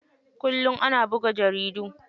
Kullum ana buga jaridu.